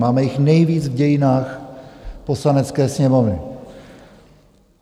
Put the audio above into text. Máme jich nejvíc v dějinách Poslanecké sněmovny.